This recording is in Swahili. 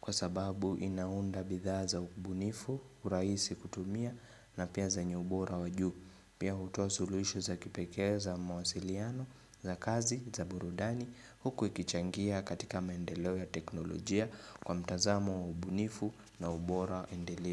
kwa sababu inaunda bidhaa za ubunifu, urahisi kutumia na pia zenye ubora wa juu. Pia hutoa suluhisho za kipekee za mawasiliano, za kazi, za burudani huku ikichangia katika maendeleo ya teknolojia kwa mtazamo wa ubunifu na ubora endelevu.